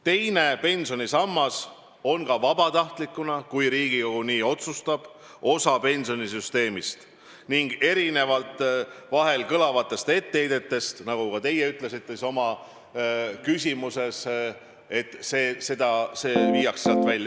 Teine pensionisammas on ka vabatahtlikkuse korral, kui Riigikogu nii otsustab, osa pensionisüsteemist – seda erinevalt vahel kõlavatest etteheidetest, nagu ka teie küsimuses kõlas, et see viiakse sealt välja.